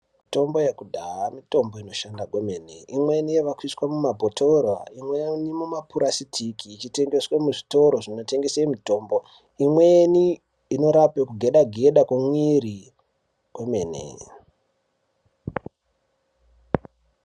Mitombo yekudhaya mitombo inoshanda kwemene. Imweni yaakuiswa mumabhotoro, imweni mumapurasitiki, ichitengeswe muzvitoro zvinotengese mitombo. Imweni inorape kugeda-geda komuiri komene.